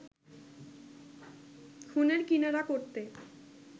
খুনের কিনারা করতে